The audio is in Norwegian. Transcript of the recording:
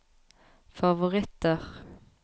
favoritter